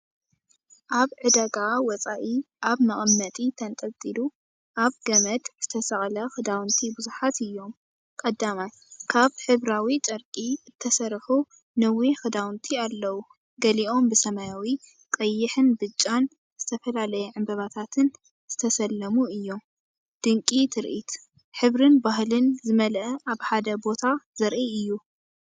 ኣብ ዕዳጋ ወጻኢ ኣብ መቐመጢ ተንጠልጢሉ ኣብ ገመድ ዝተሰቕለ ክዳውንቲ ብዙሓት እዮም። ቀዳማይ፡ካብ ሕብራዊ ጨርቂ እተሰርሑ ነዊሕ ክዳውንቲ ኣለዉ፣ ገሊኦም ብሰማያዊ፡ ቀይሕ፡ብጫን እተፈላለየ ዕምባባታትን እተሰለሙ እዮም። ድንቂ ትርኢት፡ ሕብርን ባህልን ዝመልአ ኣብ ሓደ ቦታ ዘርኢ እዩ።